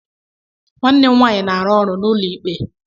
Nwanne m nwanyị na-arụ ọrụ n'ụlọ ikpe.